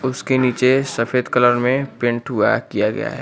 उसके नीचे सफेद कलर में पेंट हुआ किया गया है।